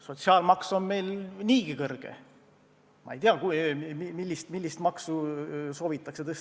Sotsiaalmaks on meil niigi kõrge, ma ei tea, millist maksu soovitakse tõsta.